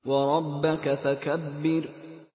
وَرَبَّكَ فَكَبِّرْ